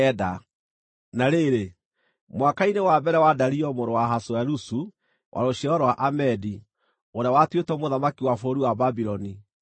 Na rĩrĩ, mwaka-inĩ wa mbere wa Dario mũrũ wa Ahasuerusu (wa rũciaro rwa Amedi), ũrĩa watuĩtwo mũthamaki wa bũrũri wa Babuloni,